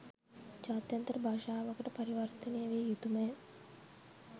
ජාත්‍යන්තර භාෂාවකට පරිවර්තනය විය යුතු ම ය.